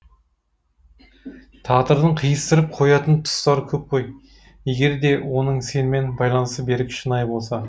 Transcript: тағдырдың қиыстырып қоятын тұстары көп қой егер де оның сенімен байланысы берік шынайы болса